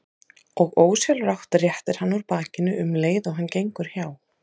Og ósjálfrátt réttir hann úr bakinu um leið og hann gengur hjá.